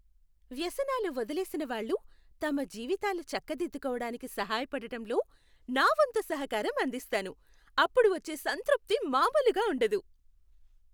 వ్యసనాలు వదిలేసినవాళ్ళు తమ జీవితాలు చక్కదిద్దుకోడానికి సహాయపడటంలో నా వంతు సహకారం అందిస్తాను. అప్పుడు వచ్చే సంతృప్తి మామూలుగా ఉండదు!